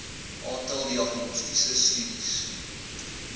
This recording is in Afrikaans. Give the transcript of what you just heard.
aantal diagnostiese studies